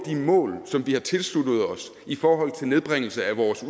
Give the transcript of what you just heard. de mål som vi har tilsluttet os i forhold til nedbringelse af vores